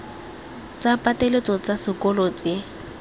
tsa pateletso tsa sekolo tse